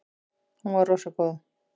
Hún var rosa góð.